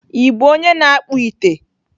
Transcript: Ị bụ onye na-akpụ ite?